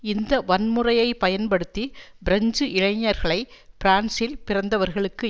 இந்த வன்முறையை பயன்படுத்தி பிரெஞ்சு இளைஞர்களை பிரான்சில் பிறந்தவர்களுக்கு